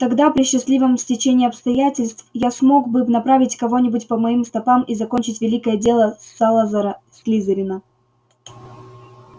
тогда при счастливом стечении обстоятельств я смог бы направить кого-нибудь по моим стопам и закончить великое дело салазара слизерина